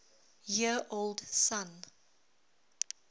year old son